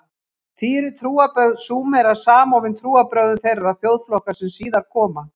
Því eru trúarbrögð Súmera samofin trúarbrögðum þeirra þjóðflokka sem síðar koma.